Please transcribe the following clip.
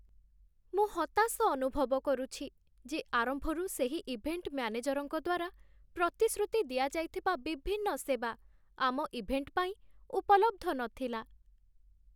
ମୁଁ ହତାଶ ଅନୁଭବ କରୁଛି ଯେ ଆରମ୍ଭରୁ ସେହି ଇଭେଣ୍ଟ ମ୍ୟାନେଜରଙ୍କ ଦ୍ୱାରା ପ୍ରତିଶ୍ରୁତି ଦିଆଯାଇଥିବା ବିଭିନ୍ନ ସେବା ଆମ ଇଭେଣ୍ଟ ପାଇଁ ଉପଲବ୍ଧ ନଥିଲା।